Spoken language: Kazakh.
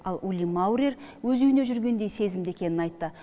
ал ули маурер өз үйімде жүргендей сезімде екенін айтты